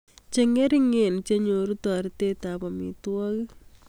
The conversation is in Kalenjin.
Chengeringen che nyoru toreetetab amitwogik